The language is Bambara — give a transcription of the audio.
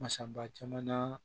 Masaba caman na